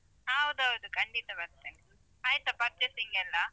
ಹೌದೌದು ಖಂಡಿತ ಬರ್ತೇನೆ. ಆಯ್ತಾ purchasing ಎಲ್ಲ?